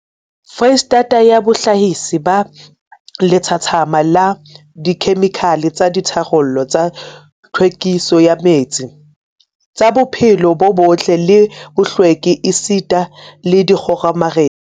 Freistata ya bohlahisi ba lethathama la dikhemikhale tsa ditharollo tsa tlhwekiso ya metsi, tsa bophelo bo botle le bohlweki esita le dikgomaretsi.